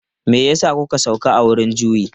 Me ya sa kuka sauka a wurin juyi?